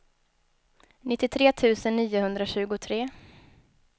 nittiotre tusen niohundratjugotre